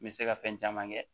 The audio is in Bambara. N bɛ se ka fɛn caman kɛ